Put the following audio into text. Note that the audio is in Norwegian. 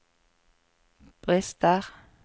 brister